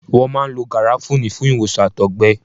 Wọ́n máa ń lo Gàràfúní fún ìwòsàn Àtọ̀gbẹ.